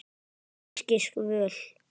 Einskis völ.